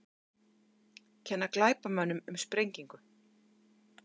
Kenna glæpamönnum um sprengingu